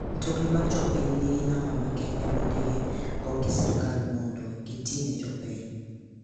Mtokni mag jopiny ningi namba makende mondigi go gi sirkal mondo gitine jopiny.